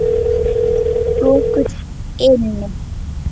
Lokuð inni.